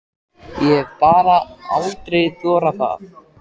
Ég hef bara aldrei þorað það.